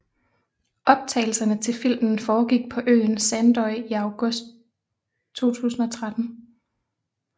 Optagelserne til filmen foregik på øen Sandoy i august 2013